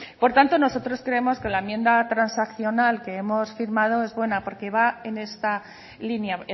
por tanto nosotros creemos que la enmienda transaccional que hemos firmado es buena porque va en esta línea